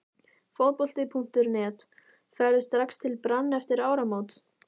Fótbolti.net: Ferðu strax til Brann eftir áramót??